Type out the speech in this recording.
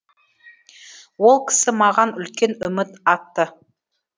ол кісі маған үлкен үміт артты